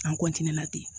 An